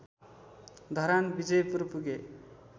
धरान विजयपुर पुगे